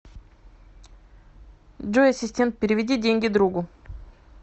джой ассистент переведи деньги другу